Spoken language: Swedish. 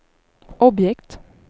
objekt